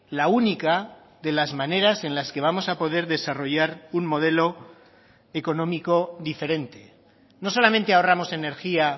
la única de las maneras en las que vamos a poder desarrollar un modelo económico diferente no solamente ahorramos energía